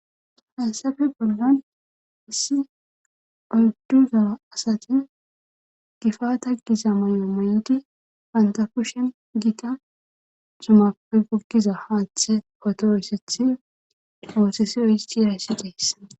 haysafe bollan issi oyduza asati gifata giza moy7o mayoti banta pushen gita zumape gogiza haanthe potoyssethi oosesiyo histi rayssi deessa